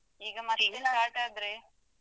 ಹ್ಮ್ ಈಗ ಮತ್ತೆ start ಆದ್ರೆ.